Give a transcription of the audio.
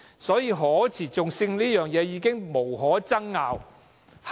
所以，可持續性這一點，已經無可爭拗。